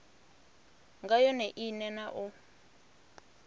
nga yone ine na u